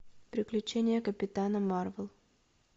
приключения капитана марвела